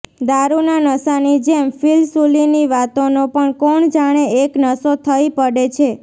દારૂના નશાની જેમ ફિલસૂફીની વાતોનો પણ કોણ જાણે એક નશો થઈ પડે છે